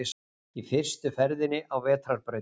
Í fyrstu ferðinni á vetrarbrautinni